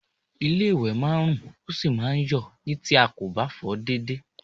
Ilé-ìwẹ̀ máa ń rùn, ó sì máa ń yọ̀ ni tí a kò bá fọ̀ ọ́ déédéé